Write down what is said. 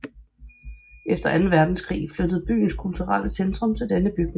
Efter anden verdenskrig flyttede byens kulturelle centrum til denne bygning